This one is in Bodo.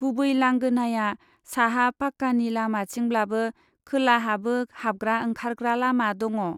गुबै लांगोनाया साहा फाक्कानि लामाथिंब्लाबो खोलाहाबो हाबग्रा ओंखारग्रा लामा दङ।